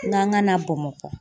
N k'an na Bamakɔ